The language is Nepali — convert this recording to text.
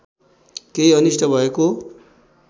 केही अनिष्ट भएको